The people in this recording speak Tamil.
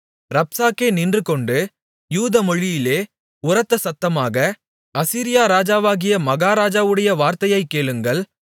ரப்சாக்கே நின்றுகொண்டு யூதமொழியிலே உரத்தசத்தமாக அசீரியா ராஜாவாகிய மகாராஜாவுடைய வார்த்தையைக் கேளுங்கள்